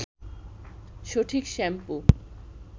সঠিক শ্যাম্পু